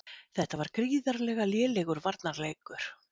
Þetta var gríðarlega lélegur varnarleikur.